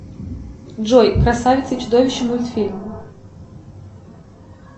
джой красавица и чудовище мультфильм